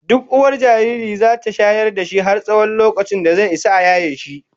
Duk uwar jariri zata shayar da shi har tsawon lokacin da zai Isa a yaye shi